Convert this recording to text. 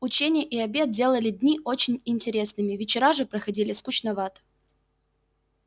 ученье и обед делали дни очень интересными вечера же проходили скучновато